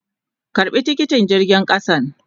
Karba tikiti jirgin kasan.